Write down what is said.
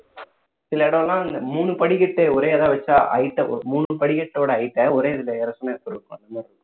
சில இடம் எல்லாம் மூணு படிக்கட்டு ஒரே இதா வச்சா height மூணு படிக்கட்டோட height ட ஒரே இதுல ஏற சொன்னா எப்படி இருக்கும்